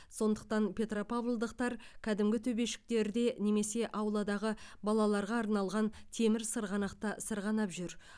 сондықтан петропавлдықтар кәдімгі төбешіктерде немесе ауладағы балаларға арналған темір сырғанақта сырғанап жүр